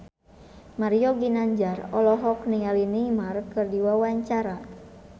Mario Ginanjar olohok ningali Neymar keur diwawancara